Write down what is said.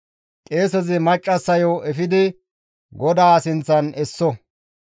«Qeesezi maccassayo efidi GODAA sinththan esso.